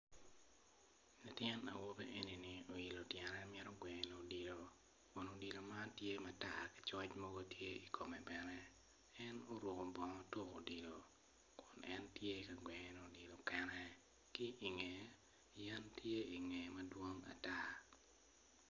Latin awobi eni oilo tyene mito gweno odilo kun odilo man tye matar ki coc mogo tye i kome bene en oruko bongo tuko odilo en tye ka gweno odilo kene ki ingeye yen tye ingeye madwong ata.